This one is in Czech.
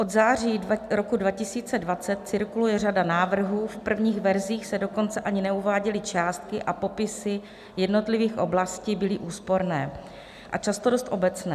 Od září roku 2020 cirkuluje řada návrhů, v prvních verzích se dokonce ani neuváděly částky a popisy jednotlivých oblastí byly úsporné a často dost obecné.